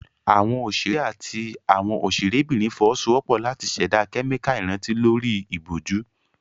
Àwọn òṣèré àti àwọn òṣèrébìnrin fọwọ́sowọ́pọ̀ láti ṣẹ̀dá kẹ́míkà ìrántí lórí ìbòjú.